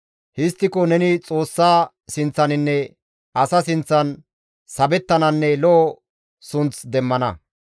Histtiko neni Xoossa sinththaninne asaa sinththan sabettananne lo7o sunth demmana.